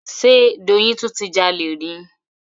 Ṣe Doyin tún ti jalè ni?